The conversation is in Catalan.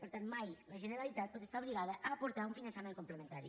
per tant mai la generalitat pot estar obligada a aportar un finançament complementari